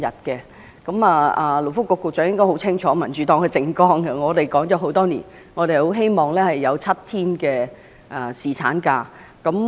勞工及福利局局長應該很清楚民主黨的政綱，我們提議了這政策很多年，希望僱員能有7天的侍產假。